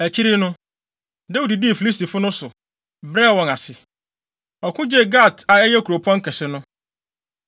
Akyiri no, Dawid dii Filistifo no so, brɛɛ wɔn ase. Ɔko gyee Gat a ɛyɛ wɔn kuropɔn kɛse no.